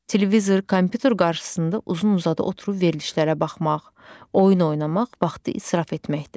Televizor, kompyuter qarşısında uzun-uzadı oturub verilişlərə baxmaq, oyun oynamaq vaxtı israf etməkdir.